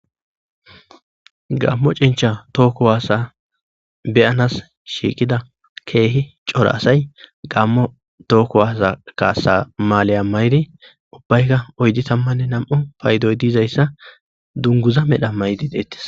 Gammo cincha tooku waasa beyanas shiiqida keehi cora asay gammo tookku waasa kaasa maaleya mayri ubbayka oydi tammanne nam'u paydoy diizayssa dunguza medha maydi deettis.